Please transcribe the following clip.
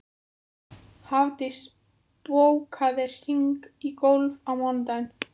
Hafdís, bókaðu hring í golf á mánudaginn.